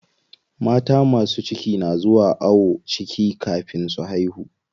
Mata masu ciki na zuwa ayon ciki kafin su haihu.